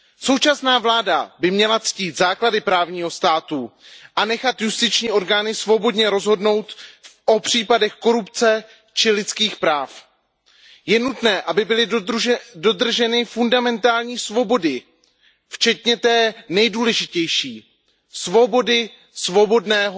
Současná vláda by měla ctít základy právního státu a nechat justiční orgány svobodně rozhodnout o případech korupce či lidských práv. Je nutné, aby byly dodrženy fundamentální svobody včetně té nejdůležitější, svobody svobodného